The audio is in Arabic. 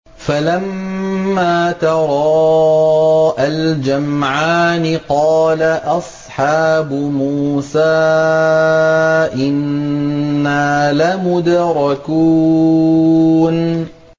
فَلَمَّا تَرَاءَى الْجَمْعَانِ قَالَ أَصْحَابُ مُوسَىٰ إِنَّا لَمُدْرَكُونَ